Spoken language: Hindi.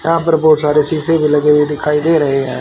यहां पर बहुत सारे शीशे भी लगे हुए दिखाई दे रहे हैं।